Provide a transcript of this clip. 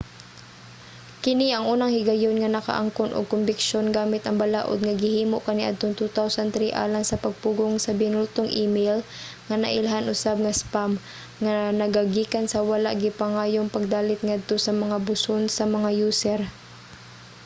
kini ang unang higayon nga nakaangkon og kombiksyon gamit ang balaod nga gihimo kaniadtong 2003 alang sa pagpugong sa binultong email nga nailhan usab nga spam nga nagagikan sa wala gipangayong pagdalit ngadto sa mga buson sa mga user